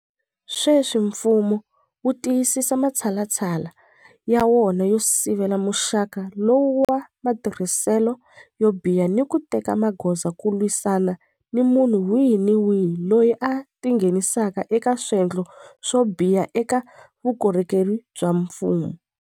Sweswi mfumo wu tiyisisa matshalatshala ya wona yo sivela muxaka lowu wa matirhiselo yo biha ni ku teka magoza ku lwisana ni munhu wihi ni wihi loyi a tingheni saka eka swendlo swo biha eka vukorhokeri bya mfumo.